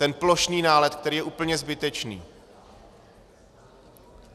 Ten plošný nálet, který je úplně zbytečný.